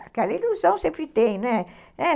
Aquela ilusão sempre tem, né? é